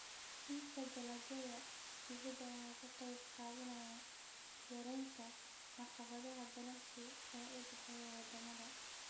Iibka dalagyada dibadda ayaa ka qayb qaadanaya yaraynta caqabadaha ganacsi ee u dhexeeya wadamada.